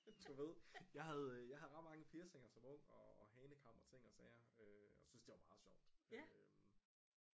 Du ved jeg havde øh jeg havde ret mange piercinger som ung og hanekam og ting og sager og synes det var meget sjovt